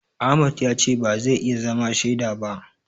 Ahmad ya ce ba zai iya zama shaida ba.